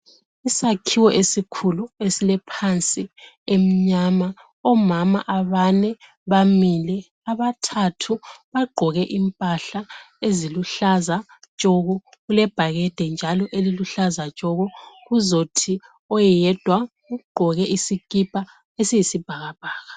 Isakhiwo esikhulu esilephansi emnyama, omama abane bamile, abathathu bagqoke impahla eziluhlaza tshoko, kulebhakede njalo eliluhlaza tshoko, kuzothi oyedwa ugqoke isikipha esiyisibhakabhaka.